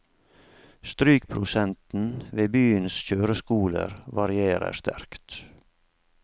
Strykprosenten ved byens kjøreskoler varierer sterkt.